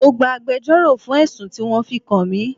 Mo gbà agbẹjoro fún ẹ̀sùn tí wọn fi kan mi.